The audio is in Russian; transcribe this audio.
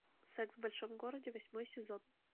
секс в большом городе восьмой сезон